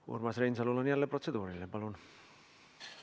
Urmas Reinsalul on jälle protseduuriline küsimus.